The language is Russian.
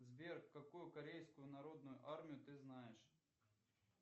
сбер какую корейскую народную армию ты знаешь